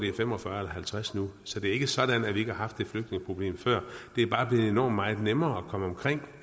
er fem og fyrre eller halvtreds millioner nu så det er ikke sådan at vi ikke har haft et flygtningeproblem før det er bare blevet enormt meget nemmere at komme omkring